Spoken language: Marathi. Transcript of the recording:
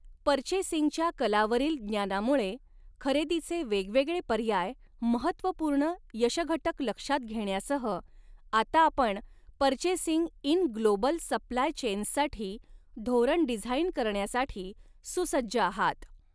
पर्चेसिंगच्या कलावरील ज्ञानामुळे खरेदीचे वेगवेगळे पर्याय महत्त्वपूर्ण यशघटक लक्षात घेण्यासह आता आपण पर्चेसिंग इन ग्लोबल सप्लाय चेन्ससाठी धोरण डिझाइन करण्यासाठी सुसज्ज आहात.